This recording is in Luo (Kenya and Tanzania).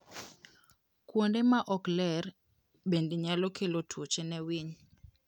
Kuonde ma ok ler bende nyalo kelo tuoche ne winy.